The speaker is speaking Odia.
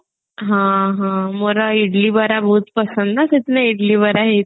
ହଁ ହଁ ମୋର ଇଡିଲି ବରା ବହୁତ ପସନ୍ଦ ନା ସେଦିନ ଇଡିଲି ବରା ହେଇଥିଲା